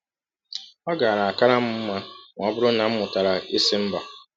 Ọ gaara kara m mma ma ọ bụrụ na m mụtara ịsị mba.